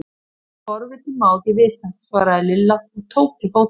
Það sem forvitinn má ekki vita! svaraði Lilla og tók til fótanna.